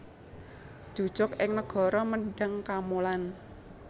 Njujug ing negara Mendhang Kamolan